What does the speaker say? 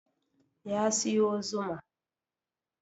Ya siyo zuma